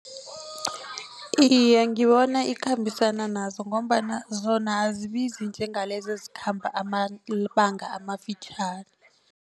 Iye, ngibona ikhambisana nazo ngombana zona azibizi njengalezi ezikhamba amabanga amafitjhani.